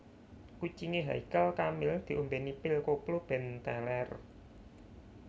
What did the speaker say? Kucinge Haykal Kamil diombeni pil koplo ben teler